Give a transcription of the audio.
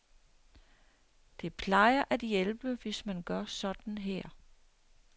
Det plejer at hjælpe, hvis man gør sådan her.